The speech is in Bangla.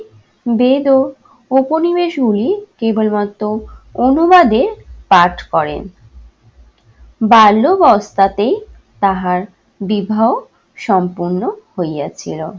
বেদ ও উপনিবেশ গুলি কেবলমাত্র অনুবাদে পাঠ করেন। বাল্য অবস্থাতেই তাহার বিবাহ সম্পন্ন হইয়াছিল।